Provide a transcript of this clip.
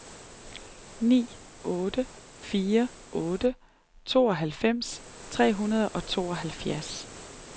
ni otte fire otte tooghalvfems tre hundrede og tooghalvfjerds